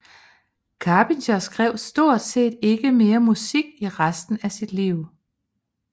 Charpentier skrev stort set ikke mere musik i resten af sit liv